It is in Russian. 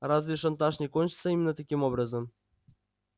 разве шантаж не кончится именно таким образом